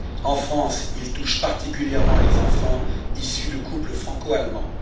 En France, il touche particulièrement les enfants issus de couples franco allemands.